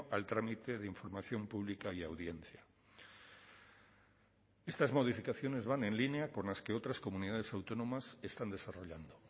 al trámite de información pública y audiencia estas modificaciones van en línea con las que otras comunidades autónomas están desarrollando